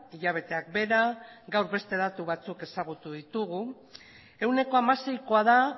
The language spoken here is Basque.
hilabeteak behera gaur bete datu batzuek ezagutu ditugu ehuneko hamaseikoa da